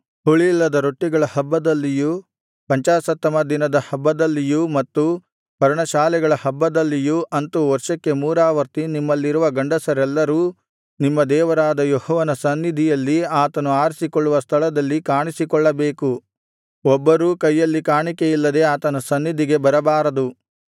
ಹುಳಿಯಿಲ್ಲದ ರೊಟ್ಟಿಗಳ ಹಬ್ಬದಲ್ಲಿಯೂ ಪಂಚಾಶತ್ತಮ ದಿನದ ಹಬ್ಬದಲ್ಲಿಯೂ ಮತ್ತು ಪರ್ಣಶಾಲೆಗಳ ಹಬ್ಬದಲ್ಲಿಯೂ ಅಂತು ವರ್ಷಕ್ಕೆ ಮೂರಾವರ್ತಿ ನಿಮ್ಮಲ್ಲಿರುವ ಗಂಡಸರೆಲ್ಲರೂ ನಿಮ್ಮ ದೇವರಾದ ಯೆಹೋವನ ಸನ್ನಿಧಿಯಲ್ಲಿ ಆತನು ಆರಿಸಿಕೊಳ್ಳುವ ಸ್ಥಳದಲ್ಲಿ ಕಾಣಿಸಿಕೊಳ್ಳಬೇಕು ಒಬ್ಬರೂ ಕೈಯಲ್ಲಿ ಕಾಣಿಕೆಯಿಲ್ಲದೆ ಆತನ ಸನ್ನಿಧಿಗೆ ಬರಬಾರದು